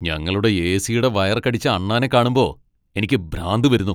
ഞങ്ങളുടെ എ.സി.യുടെ വയർ കടിച്ച അണ്ണാനെ കാണുമ്പോ എനിക്ക് ഭ്രാന്ത് വരുന്നു.